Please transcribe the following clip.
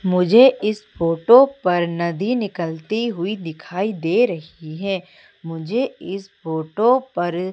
मुझे इस फोटो पर नदी निकलती हुई दिखाई दे रही है मुझे इस फोटो पर--